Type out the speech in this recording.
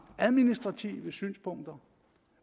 administrative synspunkter